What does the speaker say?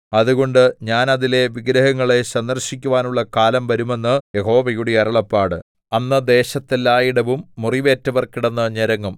അതുകൊണ്ട് ഞാൻ അതിലെ വിഗ്രഹങ്ങളെ സന്ദർശിക്കുവാനുള്ള കാലം വരും എന്ന് യഹോവയുടെ അരുളപ്പാട് അന്ന് ദേശത്തെല്ലായിടവും മുറിവേറ്റവർ കിടന്നു ഞരങ്ങും